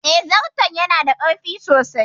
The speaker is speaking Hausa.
Eh, zarton ya na da kaifi sosai